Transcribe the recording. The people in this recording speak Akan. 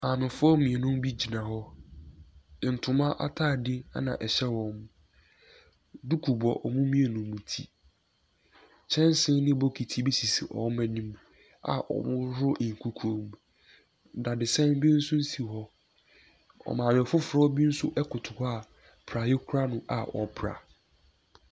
Maamefoɔ mmienu bi gyina hɔ. Ntoma atade na ɛhyɛ wɔn. Duku bɔ wɔn mmienu no ti. Kyɛnse ne bokiti bi sisi wɔn anim a wɔrehohoro nkukuom. Dadesɛ bi nso si hɔ. Maame foforɔ bi nso koto hɔ a praeɛ kura no a ɔrepra.